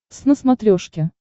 твз на смотрешке